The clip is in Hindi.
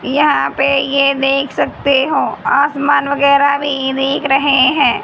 यहां पे ये देख सकते हो आसमान वगैरह भी दिख रहे हैं।